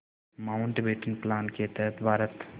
Mountbatten plan के तहत भारत